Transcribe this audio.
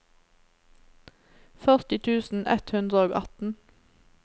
førti tusen ett hundre og atten